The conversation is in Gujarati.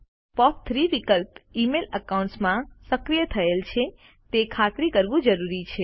પોપ3 વિકલ્પ ઇમેઇલ એકાઉન્ટ્સ માં સક્રિય થયેલ છે તે ખાતરી કરવું જરૂરી છે